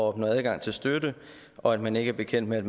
opnå adgang til støtte og at man ikke er bekendt med at